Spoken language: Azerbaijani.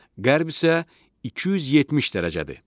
Qərb isə 270 dərəcədir.